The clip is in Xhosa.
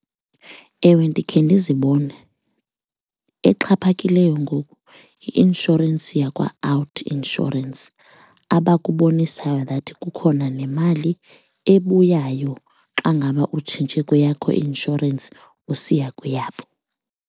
Ewe, ndikhe ndizibone. Exhaphakileyo ngoku yi-inshorensi yakwaOUTnsurance abakubonisayo that kukhona nemali ebuyayo xa ngaba utshintshe kweyakho i-inshorensi usiya kweyabo.